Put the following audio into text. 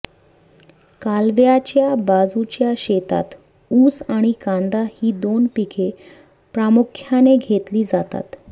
कालव्याच्या बाजूच्या शेतात ऊस आणि कांदा ही दोन पिके प्रामुख्याने घेतली जातात